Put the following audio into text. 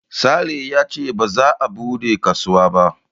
Sale yace ba za a buɗe kasuwa ba